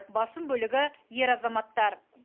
басым бөлігі ер азаматтар